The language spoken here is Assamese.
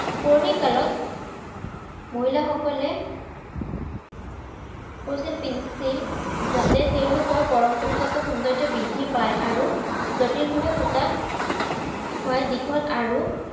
পুৰণিকালত মহিলাসকলে কাজেল পিন্ধিছিল যাতে তেওঁলোকৰ পৰম্পৰাগত সৌন্দৰ্য্য বৃদ্ধি পায়, আৰু জটিলভাৱে সুতা দীঘল হয় আৰু